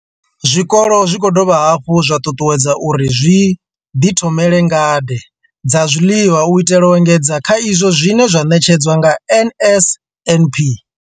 Zwikolo zwi khou dovha hafhu zwa ṱuṱuwedzwa uri zwi ḓithomele ngade dza zwiḽiwa u itela u engedza kha izwo zwine zwa ṋetshedzwa nga NSNP.